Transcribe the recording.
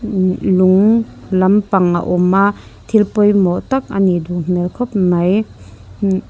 lung lampang a awma thil pawimawh tak anih duh hmel khawp mai mm--